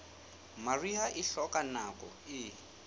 mariha e hloka nako e